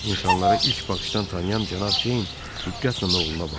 İnsanlara ilk baxışdan tanıyan Cənab Ceyn diqqətlə oğluna baxdı.